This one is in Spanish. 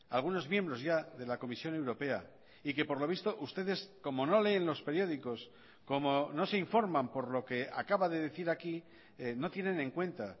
algunos miembros ya de la comisión europea y que por lo visto ustedes como no leen los periódicos como no se informan por lo que acaba de decir aquí no tienen en cuenta